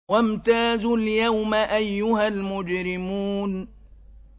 وَامْتَازُوا الْيَوْمَ أَيُّهَا الْمُجْرِمُونَ